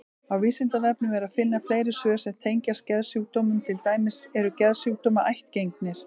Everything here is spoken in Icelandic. Á Vísindavefnum er að finna fleiri svör sem tengjast geðsjúkdómum, til dæmis: Eru geðsjúkdómar ættgengir?